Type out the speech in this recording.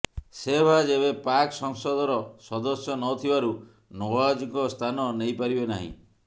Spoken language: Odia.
ଶେହବାଜ ଏବେ ପାକ୍ ସଂସଦର ସଦସ୍ୟ ନଥିବାରୁ ନଓ୍ବାଜଙ୍କ ସ୍ଥାନ ନେଇପାରିବେ ନାହିଁ